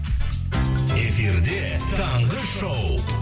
эфирде таңғы шоу